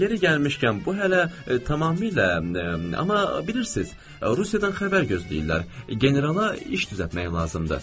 Yeri gəlmişkən, bu hələ tamamilə, amma bilirsiz, Rusiyadan xəbər gözləyirlər, Generala iş düzəltmək lazımdır.